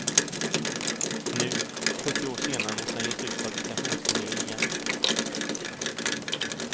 Nu, fyrtio år senare måste han ge sig ut på agitationsturné igen.